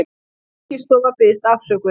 Fiskistofa biðst afsökunar